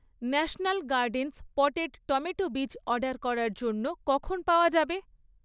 National gardens potted tomato বীজ order করার জন্য কখন পাওয়া যাবে?